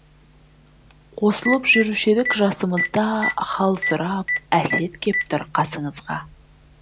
қосылып жүруші едік жасымызда хал сұрап әсет кеп тұр қасыңызға